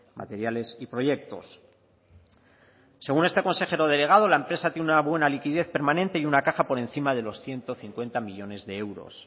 materiales y proyectos según este consejero delegado la empresa tiene una buena liquidez permanente y una caja por encima de los ciento cincuenta millónes de euros